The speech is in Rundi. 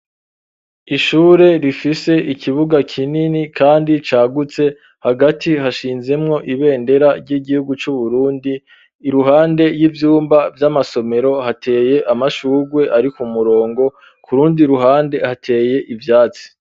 Ishure rifise ikibuga kinini kandi cagutse hagati hashinzemwo ibendera ry'igihugu c'uburundi iruhande y'ivyumba vy'amasomero hateye amashurwe ari ku murongo kurundi ruhande hateye ivyatsi